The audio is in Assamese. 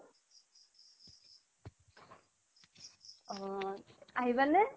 অহ আহিবানে